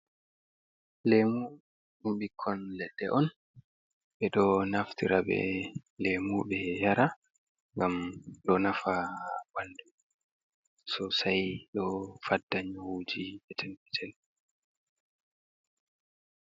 Lemu ɗum bikkon leɗɗe on ɓe ɗo naftira be lemu ɓe yara ngam ɗo nafa ha ɓandu sosai ɗo fadda nyawuji je petel petel.